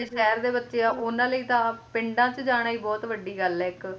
ਪਿੰਡ ਦੇ ਵਿੱਚ ਜਿਹੜੇ ਸ਼ਹਿਰ ਦੇ ਬੱਚੇ ਆ ਉਹਨਾਂ ਲਈ ਤਾਂ ਆ ਪਿੰਡਾਂ ਚ ਜਾਣਾ ਹੀ ਬਹੁਤ ਵੱਡੀ ਗੱਲ ਆ ਇੱਕ ਬਹੁਤ ਹਾਂਜੀ ਪਿੰਡ ਦੀ